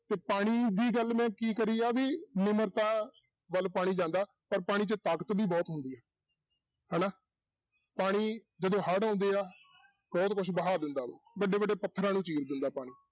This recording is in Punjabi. ਤੇ ਪਾਣੀ ਦੀ ਗੱਲ ਮੈਂ ਕੀ ਕਰੀ ਆ ਵੀ ਨਿਮਰਤਾ ਵੱਲ ਪਾਣੀ ਜਾਂਦਾ ਪਰ ਪਾਣੀ 'ਚ ਤਾਕਤ ਵੀ ਬਹੁਤ ਹੁੰਦੀ ਆ, ਹਨਾ ਪਾਣੀ ਜਦੋਂ ਹੜ੍ਹ ਆਉਂਦੇ ਆ ਬਹੁਤ ਕੁਛ ਬਹਾ ਦਿੰਦਾ ਵਾ, ਵੱਡੇ ਵੱਡੇ ਪੱਥਰਾਂ ਨੂੰ ਚੀਰ ਦਿੰਦਾ ਪਾਣੀ।